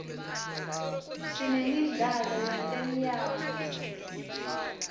sinemdlalo wetemyalto